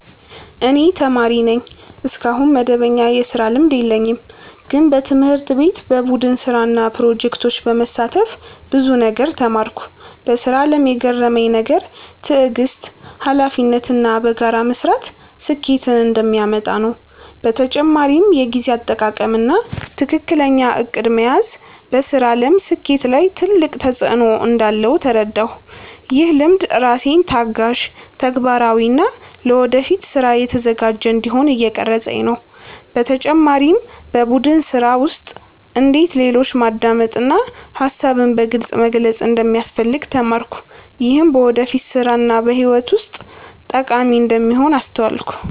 እኔ ተማሪ ነኝ፣ እስካሁን መደበኛ የስራ ልምድ የለኝም። ግን በትምህርት ቤት በቡድን ስራ እና ፕሮጀክቶች በመሳተፍ ብዙ ነገር ተማርኩ። በስራ አለም የገረመኝ ነገር ትዕግስት፣ ሀላፊነት እና በጋራ መስራት ስኬትን እንደሚያመጣ ነው። በተጨማሪም የጊዜ አጠቃቀም እና ትክክለኛ እቅድ መያዝ በስራ አለም ስኬት ላይ ትልቅ ተፅዕኖ እንዳለው ተረዳሁ። ይህ ልምድ ራሴን ታጋሽ፣ ተግባራዊ እና ለወደፊት ስራ የተዘጋጀ እንዲሆን እየቀረፀኝ ነው። በተጨማሪም በቡድን ስራ ውስጥ እንዴት ሌሎችን ማዳመጥ እና ሀሳብን በግልፅ መግለጽ እንደሚያስፈልግ ተማርኩ። ይህም በወደፊት ስራ እና በህይወት ውስጥ ጠቃሚ እንደሚሆን አስተዋልኩ።